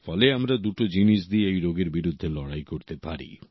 ফলে আমরা দুটো জিনিস দিয়ে এই রোগের বিরুদ্ধে লড়াই করতে পারি